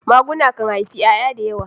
maguna kan haifi yaya da yawa.